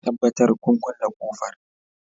Tabbatar kun kulle ƙofar